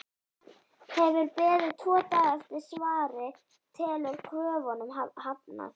Hefur beðið tvo daga eftir svari- telur kröfunum hafnað!